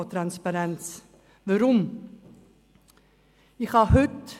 – Als Grossrätin kann ich hinschauen.